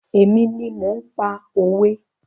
Èmi ni mò ń pa òwe.